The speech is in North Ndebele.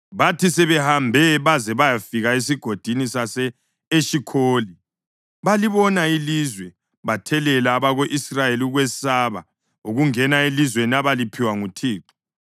Bathi sebehambe baze bayafika eSigodini sase-Eshikholi balibona ilizwe, bathelela abako-Israyeli ukwesaba ukungena elizweni abaliphiwa nguThixo.